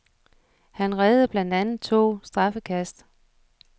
Han reddede blandt andet to straffekast.